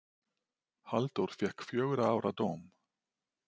Halldór fékk fjögurra ára dóm.